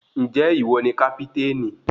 Ǹjẹ́ ìwọ ni kápítènì?